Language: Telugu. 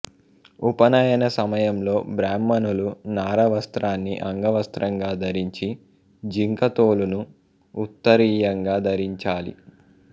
ఉపనయన సమయంలో బ్రాహ్మణులు నార వస్త్రాన్ని అంగవస్త్రంగా ధరించి జింకతోలును ఉత్తరీయంగా ధరించాలి